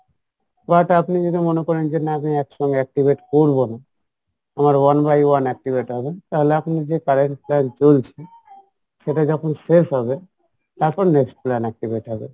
বা ওটা আপনি যদি মনে করেন যে না আমি একসঙ্গে activate করবো না আমার one by one activate হবে তাহলে আপনার যে current plan চলছে শেষ হবে তারপর next plan activate হবে